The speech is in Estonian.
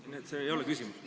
Nii et see ei ole küsimus.